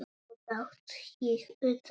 Svo datt ég út af.